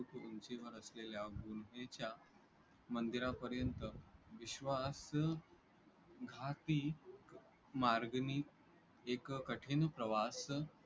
उंचीवर असलेल्या उंचीच्या मंदिरापर्यंत विश्वासघाती मार्गांनी एक कठीण प्रवास